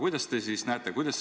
Kuidas teie seda näete?